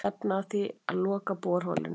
Stefna að því að loka borholunni